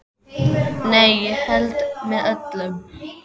Nei, ég held með öllum.